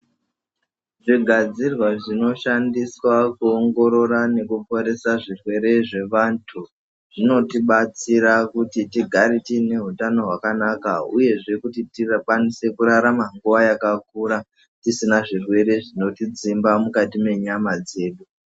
Zvigadzirwa zvino shandiswa kuongorora nekuporesa zvirwere zvevantu, zvinoti batsira kuti tigare tiine hutano hwakanaka uyezve kuti tikwanise kurarama nguwa yakakura tisina zvirwere zvinoti dzimba mukati mwenyama dzedu.